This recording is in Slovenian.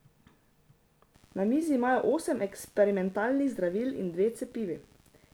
Na mizi imajo osem eksperimentalnih zdravil in dve cepivi.